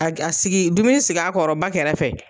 A kɛ a sigi dumuni sig'a kɔrɔ ba kɛrɛfɛ.